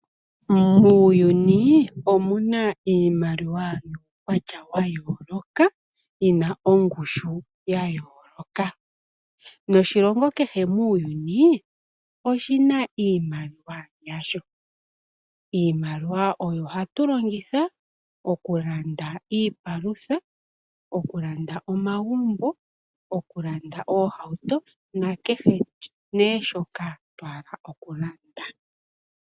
Muuyuni omuna iimaliwa yuukwatya wa yooloka, yina ongushu ya yooloka noshilongo kehe muuyuni oshina iimaliwa yasho. Iimaliwa oyo hatu longitha oku landa iipalutha, oku landa omagumbo, oku landa ohauto na kehe nee shoka twa hala oku landa.